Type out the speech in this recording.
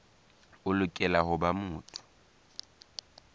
o lokela ho ba motho